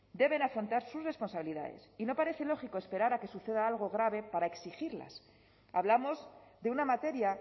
deben afrontar sus responsabilidades y no parece lógico esperar a que suceda algo grave para exigirlas hablamos de una materia